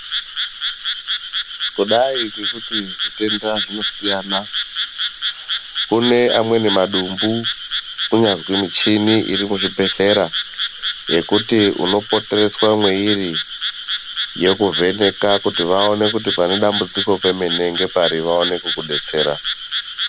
Kudayi ngekuti zvitenda zvinosiyana kune amweni madumbu kunyangwe michini iri muzvibhedhlera yekuti unopotereswe mwairi yokuvheneka kuti vaone kuti pane dambudziko pemene ngepari vaone kukubetsera.